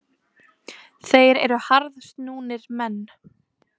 Þeir eru harðsnúnir menn.